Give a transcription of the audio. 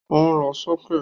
Ó lọ sókè